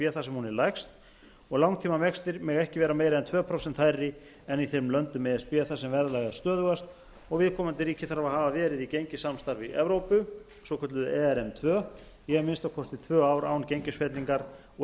er lægst og langtímavextir mega ekki vera meiri en tvö prósent hærri en í þeim löndum e s b þar sem verðlag er stöðugast og viðkomandi ríki þarf að hafa verið í gengissamstarfi evrópu svokölluðu ern tvö í að minnsta kosti tvö á r án gengisfellingar og